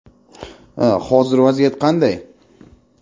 Hozir vaziyat qanday?